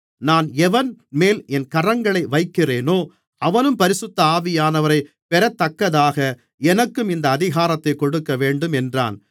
நான் எவன்மேல் என் கரங்களை வைக்கிறேனோ அவனும் பரிசுத்த ஆவியானவரைப் பெறத்தக்கதாக எனக்கும் இந்த அதிகாரத்தைக் கொடுக்கவேண்டும் என்றான்